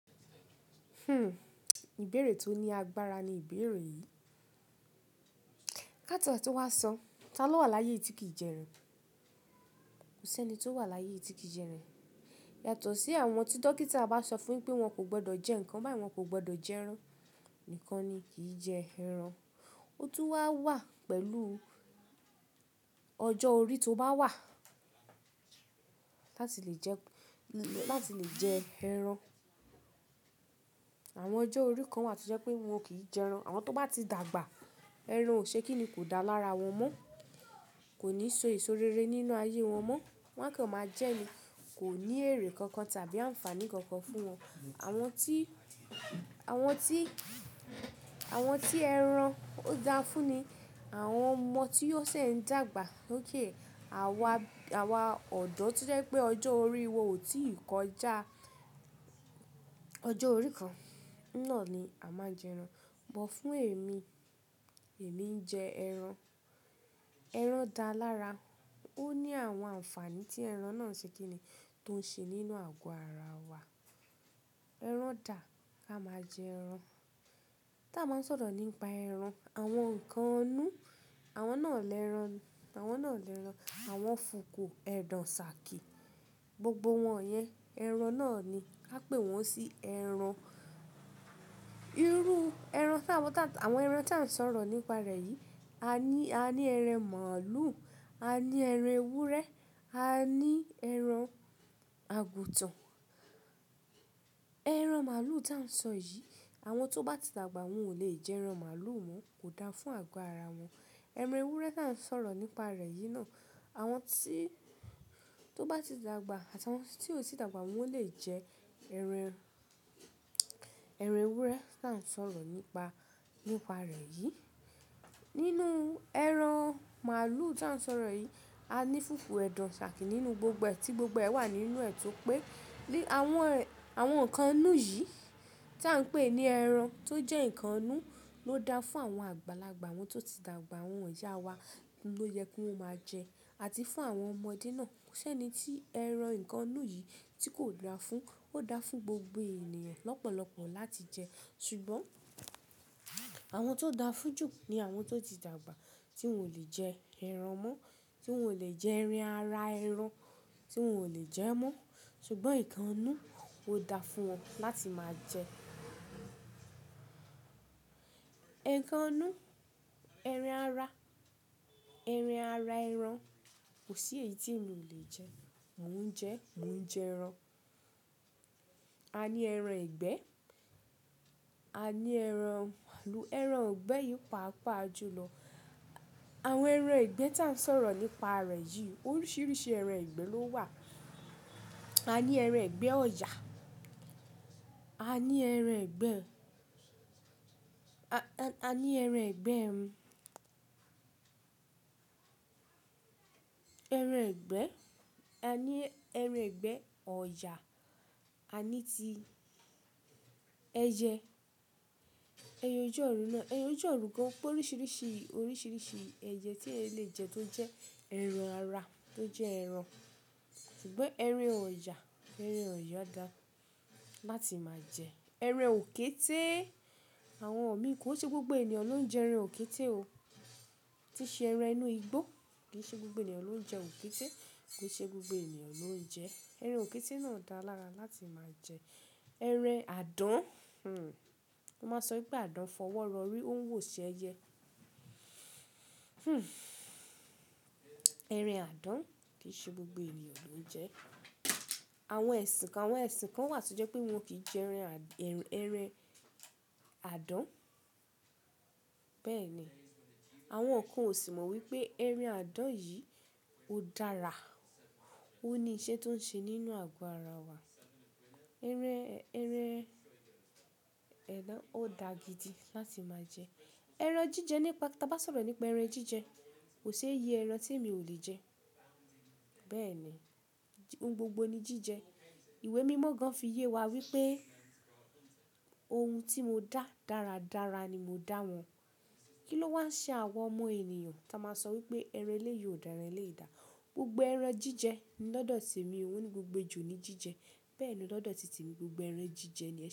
Hmm ìbéèrè tó ní agbára ni ìbéèrè yìí. Ka tie to wa sọ, ta ló wà láyé yi tí kì í jẹ ẹran? Kò sí ẹni tó wà láyé tí kì í jẹ ẹran. Yàtọ̀ sí àwọn tí dókítà bá sọ fún pé wọ́n kò gbọdọ̀ jẹ nǹkan báyìí wọ́n kò gbọdọ̀ jẹ ẹran nìkan ni kì í jẹ ẹran. Ó tún wá wà pẹ̀lú ọjọ́ orí tó bá wà láti lè jẹ, láti lè jẹ ẹran. Àwọn ọjọ́ orí kan wà tí jẹ́ pé wọn kì í jẹ ẹran. Àwọn tó bá ti dàgbà, ẹran ò ṣe kíni kò dá lára wọn mọ́, kò ní so ìso rere nínú ayé wọn mọ́, wọn kàn máa jẹ ẹni kò ní èrè kankan tàbí àǹfààní kankan fún wọn. Àwọn tí, àwọn tí, àwọn tí ẹran ó dáa fún ni àwọn ọmọ tí ó ṣẹ̀ ń dàgbà. Óké àwa, àwa ọ̀dọ́ tí jẹ́ pé ọjọ́ orí wa ò tí ì kọjá ọjọ́ orí kan náà ni a máa jẹ ẹran. Ṣùgbọ́n fún èmi, èmi ń jẹ ẹran. Ẹran dáa lára. Ó ní àwọn àǹfààní tí ẹran náà ṣe kíni tó ń ṣe nínú àgọ́ ara wa. Ẹran dà, ka máa jẹ ẹran. Tí a bá ń sọ̀rọ̀ nípa ẹran, àwọn nǹkan inú, àwọn náà lẹ́ran, àwọn náà lẹ́ran, àwọn fùku, ẹ̀dọ̀, ṣàkí, gbogbo wọ́n yẹn ẹran náà ni. A pè wọ́n sí ẹran. Irú ẹran tí àwọn tá, àwọn ẹran tí à ń sọ̀rọ̀ nípa rẹ̀ yìí, a ní, a ní ẹran màlúù, a ní ẹran ewúrẹ́, a ní ẹran àgùntàn. Ẹran màlúù tí à ń sọ yìí, àwọn tó bá ti dàgbà, wọ́n ò lè jẹ ẹran màlúù mọ́, kò dáa fún àgọ́ ara wọn. Ẹran ewúrẹ́ tí à ń sọ̀rọ̀ nípa rẹ̀ yìí náà, àwọn tí tó bá ti dàgbà àti àwọn tí ò tí dàgbà wọ́n lè jẹ ẹran, ẹran ewúrẹ́ tí à ń sọ̀rọ̀ nípa, nípa rẹ̀ yìí. Nínú ẹran màlúù tí à ń sọ̀rọ̀ yìí, a ní fùkú, ẹ̀dọ̀, ṣàkí nínú gbogbo ẹ tí gbogbo ẹ wà nínú ẹ̀ tó pé. Ni àwọn, àwọn nǹkan inú yìí tí à ń pè ní ẹran tó jẹ́ nǹkan inú ló dáa fún àwọn àgbàlagbà, àwọn tó ti dàgbà, àwọn ìyá wa ló yẹ kí wọ́n máa jẹ, àti fún àwọn ọmọdé náà. Kò sí ẹni tí ẹran nǹkan inú yìí tí kò dáa fún, ó dáa fún gbogbo ènìyàn lọ́pọ̀lọpọ̀ láti jẹ. Ṣùgbọ́n àwọn tó dáa fún jù ni àwọn tó ti dàgbà tí wọn ò lè jẹ ẹran mọ́, tí wọn ò lè jẹ ẹran ara ẹran, tí wọn ò lè jẹ ẹ́ mọ́. Ṣùgbọ́n nǹkan inú ó dáa fún wọn láti máa jẹ. Nǹkan inú, ẹran ara, ẹran ara ẹran kò sí èyí tí mi ò lè jẹ. Mò ń jẹ, mò ń jẹ ẹran. A ní ẹran ìgbẹ́, a ní ẹran màlúù. Ẹran ìgbẹ́ yìí pa'pa jùlọ. Àwọn ẹran ìgbẹ́ tí à ń sọ̀rọ̀ nípa rẹ̀ yìí, oríṣiríṣi ẹran ìgbẹ́ ló wà. A ní ẹran ìgbẹ́ ọ̀yà, a ní ẹran ìgbẹ́, a, a ní ẹran ìgbẹ́, ẹran ìgbẹ́, a ní ẹran ìgbẹ́, ọ̀yà, a ní ti ẹyẹ, ẹye ọju òrun náà. Ẹye ojú orun gan pé oríṣiríṣi, oríṣiríṣi ẹyẹ tí ẹeyan lè jẹ tó jẹ́ ẹran ara tó jẹ́ ẹran. Ṣùgbọ́n ẹran ọ̀yà, ẹran ọ̀yà dáa láti máa jẹ. Ẹran òkété, àwọn mi kò ṣe gbogbo ènìyàn ló ń jẹ ẹran òkété o. Tí ṣe ẹran inú igbó kì í ṣe gbogbo ènìyàn ló ń jẹ òkété. Kò ṣe gbogbo ènìyàn ló ń jẹ ẹran òkété náà dáa lára láti máa jẹ. Ẹran àdán, hmm, a máa sọ pé àdán fọwọ́ rọrí ó ń wò sí ẹyẹ. Hmm, ẹran àdán kì í ṣe gbogbo ènìyàn ló ń jẹ. Àwọn ẹ̀sìn kan, àwọn ẹ̀sìn kan wà tí jẹ́ pé wọn kì í jẹ ẹran à, ẹran, ẹran àdán. Bẹ́ẹ̀ni àwọn kan sì mọ̀ wípé ẹran àdán yìí ó dára. Ó ní iṣẹ́ tó ń ṣe nínú àgọ́ ara wa. Ẹran, ẹran, adan ó dáa gidi láti máa jẹ. Ẹran jíjẹ nípa, tí a bá sọ̀rọ̀ nípa ẹran jíjẹ, kò ṣe iye ẹran tí èmi ò lè jẹ. Bẹ́ẹ̀ni ohun gbogbo ni jíjẹ. Ìwé mímọ́ gan fí yé wa wípé ohun tí mo dá dáradára ni mo dá wọn. Kí ló wá ṣe àwa ọmọ ènìyàn tí a máa sọ wípé ẹran eléyii o dára, ẹran eléyii o dá. Gbogbo ẹran jíjẹ ni lọ́dọ̀ tí èmi oo, moni gbogbo ejò ni jíjẹ. Bẹ́ẹ̀ni lọ́dọ̀ títemi gbogbo ẹran jíjẹ ni.